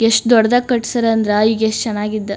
ಎಷ್ಟು ದೊಡ್ಡದಾಗಿ ಕಟ್ಟಿಸ್ಯಾರೆ ಅಂದ್ರೆ ಈಗ ಎಷ್ಟು ಚೆನ್ನಾಗಿದ್ದೋ --